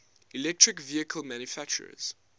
electric vehicle manufacturers